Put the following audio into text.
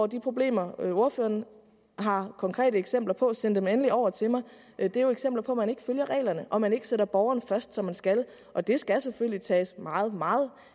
de problemer ordføreren har konkrete eksempler på send dem endelig over til mig er det jo eksempler på at man ikke følger reglerne og at man ikke sætter borgeren først som man skal og det skal selvfølgelig tages meget meget